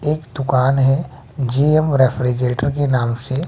एक दुकान है जी_एम रेफ्रिजरेटर के नाम से--